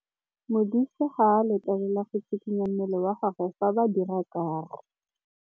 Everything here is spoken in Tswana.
Modise ga a letlelelwa go tshikinya mmele wa gagwe fa ba dira karô.